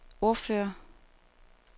ordfører